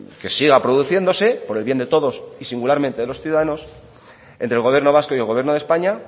que siga produciéndose por el bien de todos y singularmente de los ciudadanos entre el gobierno vasco y el gobierno de españa